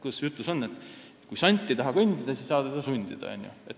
Kuidas see ütlus ongi – kui sant ei taha kõndida, siis ei saa teda sundida.